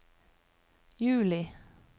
juli